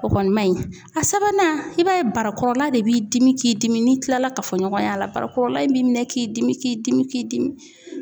O kɔni man ɲi a sabanan i b'a ye barakɔrɔla de b'i dimi k'i dimi n'i kilala kafoɲɔgɔn y'a la barakɔrɔla in b'i minɛ k'i dimi k'i dimi k'i dimi